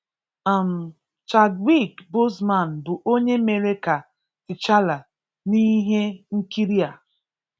um Chadwick Boseman bụ ọ́nyè méré ka T'Challa n'íhé nkịrị a